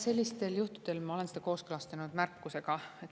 Sellistel juhtudel ma olen need kooskõlastanud märkusega.